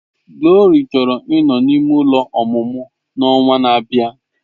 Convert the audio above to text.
Glory chọrọ ịnọ n'ime ụlọ ọmụmụ n'ọnwa na-abịa.